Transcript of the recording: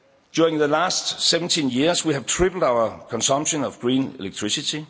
During the last 17 years, we have tripled our consumption of green electricity.